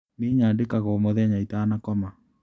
Nĩi nyandĩkaga o mũthenya itanakoma.